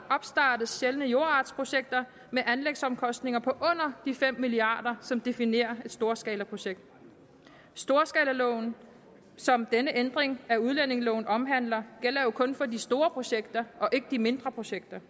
opstartes sjældne jordartsprojekter med anlægsomkostninger på under de fem milliard kr som definerer et storskalaprojekt storskalaloven som denne ændring af udlændingeloven omhandler gælder jo kun for de store projekter og ikke de mindre projekter